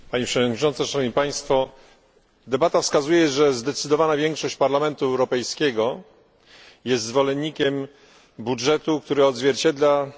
Debata wskazuje, że zdecydowana większość Parlamentu Europejskiego jest zwolennikiem budżetu, który odzwierciedla cele Unii Europejskiej.